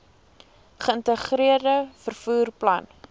geïntegreerde vervoer plan